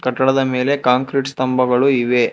ಕಟ್ಟಡದ ಮೇಲೆ ಕಾಂಕ್ರೀಟ್ ಸ್ತಂಭಗಳು ಇವೆ.